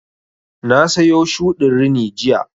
Na sayo shuɗin rini jiya